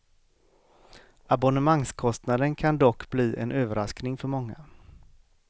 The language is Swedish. Abonnemangskostnaden kan dock bli en överraskning för många.